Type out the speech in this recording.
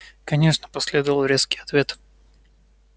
конечно последовал резкий ответ